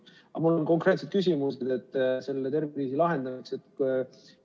Aga mul on konkreetselt küsimused selle tervisekriisi lahendamise kohta.